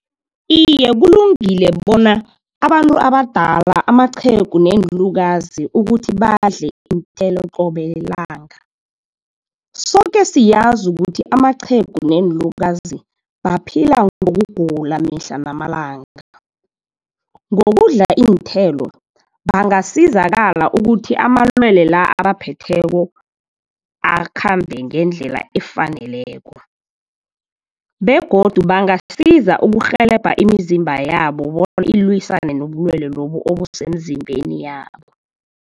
Iye kulungile bona, abantu abadala amaqhegu neenlukazi ukuthi badle iinthelo qobe lilanga. Soke siyazi ukuthi amaqhegu neenlukazi baphila ngokugula, mihla namalanga. Ngokudla iinthelo bangasizakala ukuthi amalwele la, abaphetheko akhambe ngendlela efaneleko begodu bangasiza ukurhelebha imizimba yabo bona ilwisane nobulwele lobu obusemzimbeni yabo.